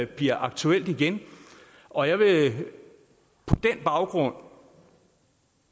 bliver aktuelt igen og jeg vil på den baggrund